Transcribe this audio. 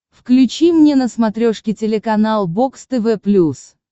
включи мне на смотрешке телеканал бокс тв плюс